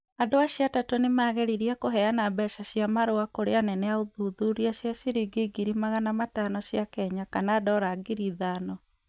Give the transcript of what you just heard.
Andũ acio atatũ nĩ maageririe kũheana mbeca cia marua kũrĩ anene a ũthuthuria cia ciringi ngiri magana matano cia Kenya kana dora ngiri ithano.